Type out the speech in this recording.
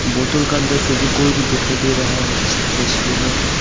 बोतल का अंदर फेविकोल भी दिखाई दे रहा है इस तस्वीर में हमें।